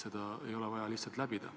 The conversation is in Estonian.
Seda lihtsalt ei ole vaja teha.